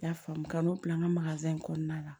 N y'a faamu ka n'o bila n ka in kɔnɔna la